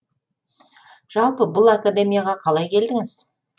жалпы бұл академияға қалай келдіңіз